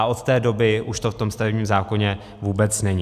A od té doby už to v tom stavebním zákoně vůbec není.